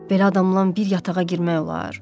Belə adamla bir yatağa girmək olar?